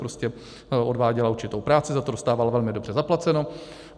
Prostě odváděla určitou práci, za to dostávala velmi dobře zaplaceno.